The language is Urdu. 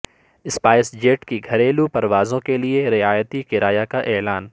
اسپائس جیٹ کی گھریلو پر وازوں کیلئے رعایتی کرایہ کا اعلان